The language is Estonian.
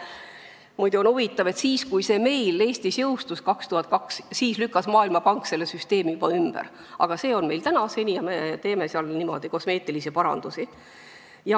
Muide, on huvitav, et siis, kui see meil Eestis jõustus, aastal 2002, lükkas Maailmapank ise juba selle süsteemi ümber, aga meil kehtib see siiani ja me teeme seal ainult kosmeetilisi parandusi.